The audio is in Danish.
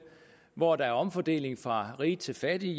hvor der er omfordeling fra rige til fattige